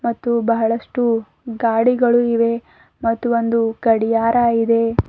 ಮತ್ತು ಬಹಳಷ್ಟು ಗಾಡಿಗಳು ಇವೆ ಮತ್ತು ಒಂದು ಗಡಿಯಾರ ಇದೆ.